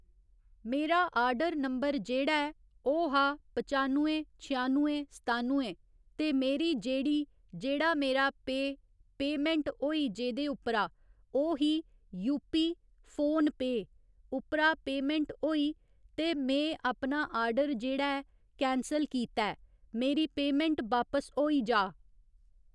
मेरा order number जेह्ड़ा ऐ ओह् हा पचानवें छयानवें सतानवें ते मेरी जेह्ड़ी जेह्ड़ा मेरा पेऽ पेऽमैंट होई जेह्दे उप्परा ओह् ही यूपी फोन पेऽ उप्परा पेऽमैंट होई ते में अपना आर्डर जेह्ड़ा ऐ कैंसल कीता ऐ मेरी पेऽमैंट बापस होई जा।